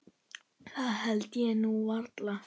Það held ég nú varla.